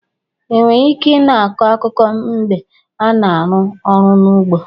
Enwere ike i na-akọ akụkụ mgbe a na-arụ ọrụ n'ugbo.